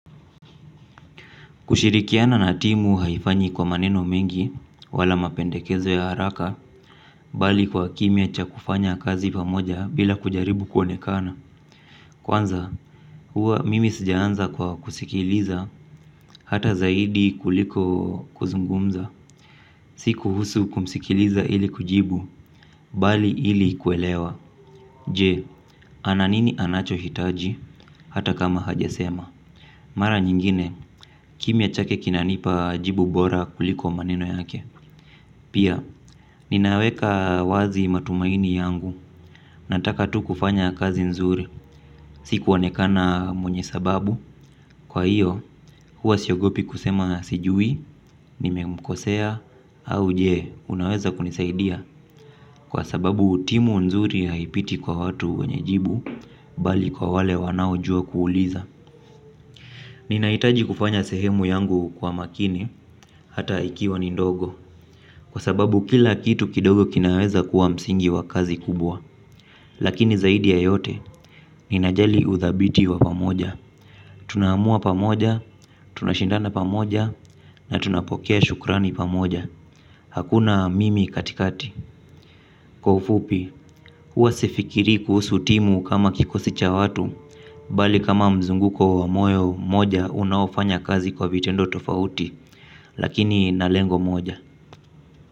Kushirikiana na timu haifanywi kwa maneno mengi wala mapendekezo ya haraka, bali kwa kimya cha kufanya kazi pamoja bila kujaribu kuonekana. Kwanza, huwa mimi sijaanza kwa kusikiliza hata zaidi kuliko kuzungumza. Si kuhusu kumsikiliza ili kujibu, bali ili kuelewa. Je, ana nini anachohitaji hata kama hajasema? Mara nyingine, kimya chake kinanipa jibu bora kuliko maneno yake. Pia, ninaweka wazi matumaini yangu, nataka tu kufanya kazi nzuri, si kuonekana mwenye sababu, kwa hiyo, huwa siogopi kusema sijui, nimemkosea, au je, unaweza kunisaidia? Kwa sababu, timu nzuri haipiti kwa watu wenye jibu, bali kwa wale wanaojua kuuliza. Ninahitaji kufanya sehemu yangu kwa makini, hata ikiwa ni ndogo, kwa sababu kila kitu kidogo kinaweza kuwa msingi wa kazi kubwa. Lakini zaidi ya yote, ninajali uthabiti wa pamoja. Tunaamua pamoja, tunashindana pamoja, na tunapokea shukrani pamoja. Hakuna mimi katikati. Kwa ufupi, huwa sifikirii kuhusu timu kama kikosi cha watu bali kama mzunguko wa moyo mmoja unaofanya kazi kwa vitendo tofauti. Lakini na lengo moja.